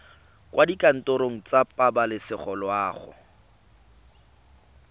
kwa dikantorong tsa pabalesego loago